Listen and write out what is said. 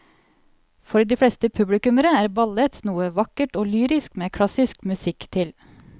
For de fleste publikummere er ballett noe vakkert og lyrisk med klassisk musikk til.